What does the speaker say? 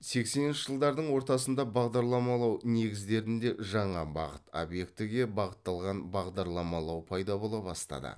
сексенінші жылдардың ортасында бағдарламалау негіздерінде жаңа бағыт объектіге бағытталған бағдарламалау пайда бола бастады